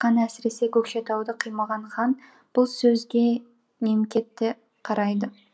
әсіресе көкшетауды қимаған хан бұл сөзге немкетті қарайды